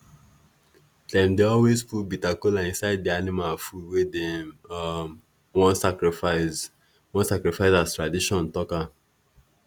dem dey always put bitter kola inside di animal food wey dem um wan sacrifice wan sacrifice as tradition talk am